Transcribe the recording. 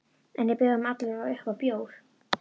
En ég bauð honum alla vega upp á bjór.